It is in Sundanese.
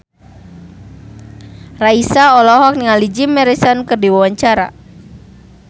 Raisa olohok ningali Jim Morrison keur diwawancara